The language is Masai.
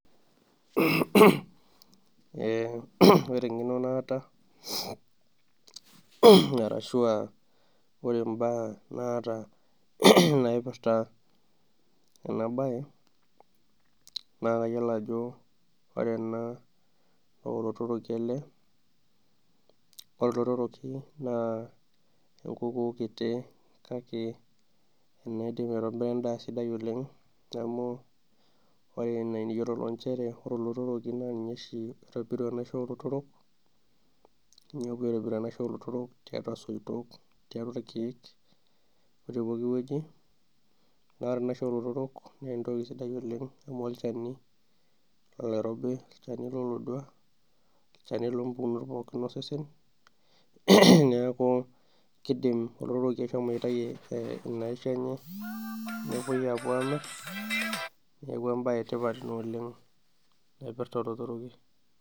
Ore engeno naata ashua mbaa naipirta ena bae ,naa kayiolo ajo ore ena naa olotoroki ele, ore olotoroki naa enkukuu kiti kake naidim aitobira enda sapuk oleng ,amu ore nchere enaa eniyiololo ore oshi olotoroki naa ninye oitobiru enaisho olotorok ,tiatua soitok ,tiatua irkeek otepooki weji. naa ore enaisho olotorok naa entoki sidai oleng amu olchani, olchani lolodua olchani loompukunot pooki ,neeku keidim olotoroki ashomo aitayu ina isho enye ,neeku embae ina etipat naipirta olotoroki.